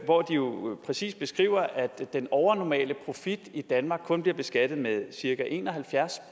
hvor de jo præcis beskriver at den overnormale profit i danmark kun bliver beskattet med cirka en og halvfjerds